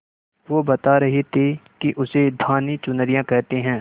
वो बता रहे थे कि उसे धानी चुनरिया कहते हैं